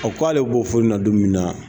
A k'ale bɔ fɔ nin na don min na